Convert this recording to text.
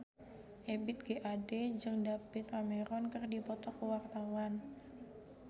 Ebith G. Ade jeung David Cameron keur dipoto ku wartawan